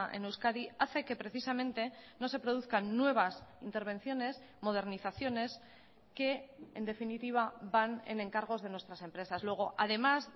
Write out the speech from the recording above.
en euskadi hace que precisamente no se produzcan nuevas intervenciones modernizaciones que en definitiva van en encargos de nuestras empresas luego además